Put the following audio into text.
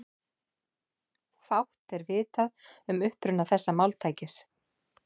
Fátt er vitað um uppruna þessa máltækis.